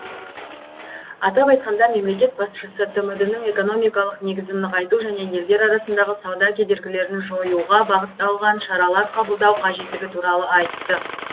атап айтқанда мемлекет басшысы тмд ның экономикалық негізін нығайту және елдер арасындағы сауда кедергілерін жоюға бағытталған шаралар қабылдау қажеттігі туралы айтты